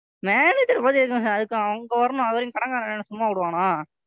Manager ஐ பாத்து எதுக்கு நான் பேசணும்? அதுக்கு அங்க வரணும். அதுவரைக்கும் கடன்காரன் என்னை என்ன சும்மா விடுவானா?